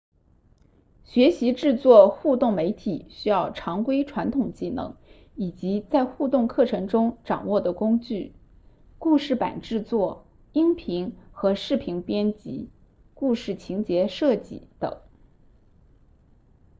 学习制作互动媒体需要常规传统技能以及在互动课程中掌握的工具故事板制作音频和视频编辑故事情节设计等